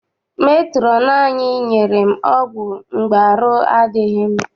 Metrọn anyị nyere m ọgwụ mgbe arụ adịghị m.